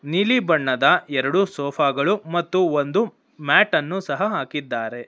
ನೀಲಿ ಬಣ್ಣದ ಎರಡು ಸೋಫಾ ಗಳು ಮತ್ತು ಒಂದು ಮ್ಯಾಟ್ ಅನ್ನು ಸಹ ಹಾಕಿದ್ದಾರೆ.